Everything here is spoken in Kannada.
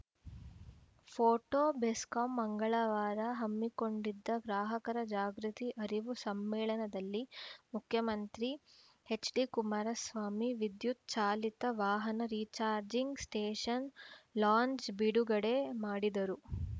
ಫೋಟೋ ಬೆಸ್ಕಾಂ ಮಂಗಳವಾರ ಹಮ್ಮಿಕೊಂಡಿದ್ದ ಗ್ರಾಹಕರ ಜಾಗೃತಿ ಅರಿವು ಸಮ್ಮೇಳನದಲ್ಲಿ ಮುಖ್ಯಮಂತ್ರಿ ಎಚ್‌ಡಿ ಕುಮಾರಸ್ವಾಮಿ ವಿದ್ಯುತ್‌ ಚಾಲಿತ ವಾಹನ ರಿಚಾರ್ಜಿಂಗ್‌ ಸ್ಟೇಷನ್‌ ಲಾಂಚ್ ಬಿಡುಗಡೆ ಮಾಡಿದರು